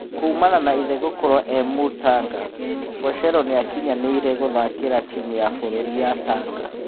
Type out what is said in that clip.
Kuumana na ithe gũkorwo e-Mũtanga, Bocero nĩakinyanĩire gũthakĩra timu ya bũrũri ya Tanga.